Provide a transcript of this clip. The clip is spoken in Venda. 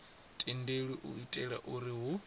tendelwi u itela uri hu